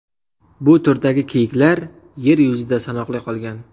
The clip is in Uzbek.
Bu turdagi kiyiklar yer yuzida sanoqli qolgan.